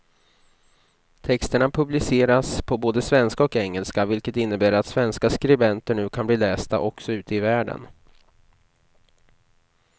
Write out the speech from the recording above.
Texterna publiceras på både svenska och engelska, vilket innebär att svenska skribenter nu kan bli lästa också ute i världen.